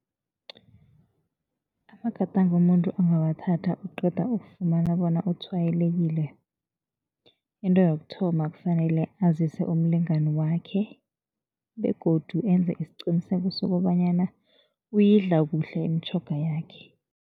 Amagadango umuntu angawathatha oqeda ukufumana bona utshwayelekile, into yokuthoma kufanele azise umlingani wakhe begodu enze isiqiniseko sokobanyana uyidla kuhle imitjhoga yakhe.